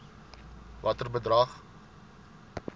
watter bedrag